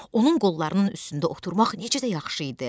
Onun qollarının üstündə oturmaq necə də yaxşı idi.